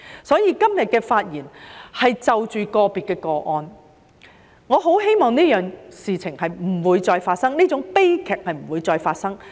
因此，今天發言中提及的是個別個案，我很希望這件事不會再發生，這種悲劇不會再發生。